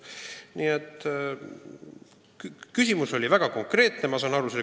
Ma saan aru, et selle küsimuse paatoslik sisu oli väga konkreetne.